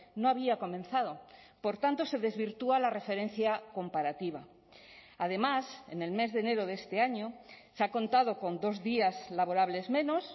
no había comenzado por tanto se desvirtúa la referencia comparativa además en el mes de enero de este año se ha contado con dos días laborables menos